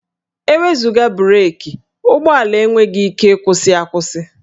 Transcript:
E wezuga breekị, ụgbọala enweghị ike ịkwụsị akwụsị